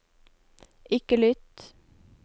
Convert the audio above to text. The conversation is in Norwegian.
ikke lytt